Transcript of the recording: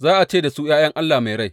za a ce da su, ’ya’yan Allah mai rai.’